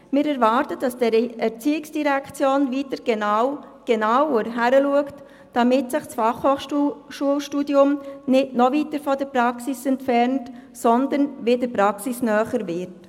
Wir erwarten, dass die ERZ wieder genauer hinschaut, damit sich das FH-Studium nicht noch weiter von der Praxis entfernt, sondern wieder praxisnäher wird.